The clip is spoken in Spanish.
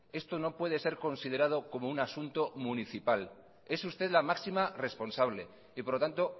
esto no puede ser considerado como un asunto municipal es usted la máxima responsable y por lo tanto